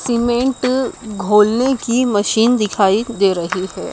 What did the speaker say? Cement घोलने की machine दिखाई दे रही है।